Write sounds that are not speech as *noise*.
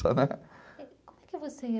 né. *unintelligible*